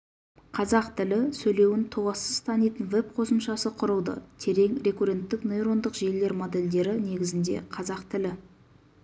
қазақ тілі сөйлеуін толассыз танитын веб-қосымшасы құрылды терең рекурренттік нейрондық желілер модельдері негізінде қазақ тілі